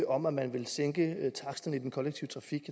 om at man ville sænke taksterne i den kollektive trafik